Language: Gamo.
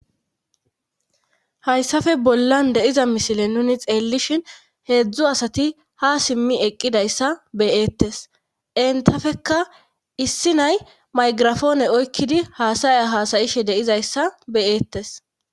hayssafe bollan de'iza misile nuni xeellishin heedzdzu asati ha simmi eqqidayssa be'eettes entafekka issi nay maygirafoone oykkidi haasaya haasayishe de'izayssa be'eettes